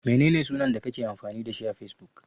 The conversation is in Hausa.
Menene sunan da kake amfani da shi a Fesbuk?